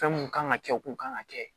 Fɛn mun kan ka kɛ o kun kan ka kɛ